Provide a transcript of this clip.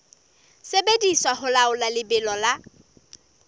sebediswa ho laola lebelo la